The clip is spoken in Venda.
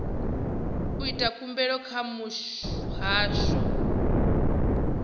u ita khumbelo kha muhasho